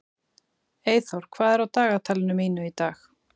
Eyþór, hvað er á dagatalinu mínu í dag?